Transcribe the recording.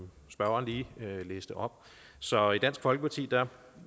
spørgeren lige læste op så i dansk folkeparti